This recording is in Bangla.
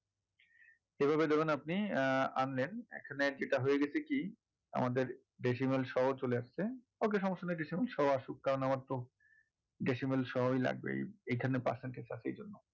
এভাবে দেখুন আপনি আহ আনলেন এখানে যেটা হয়েগেছে কি আমাদের decimal সহ চলে আসছে okay সমস্যা নেই কিছু সব আসুক কারন আমার তো decimal সহই লাগবে এই এখানে percentage আছে এইজন্য।